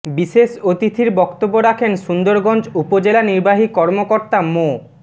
বিশেষ অতিথির বক্তব্য রাখেন সুন্দরগঞ্জ উপজেলা নির্বাহী কর্মকর্তা মো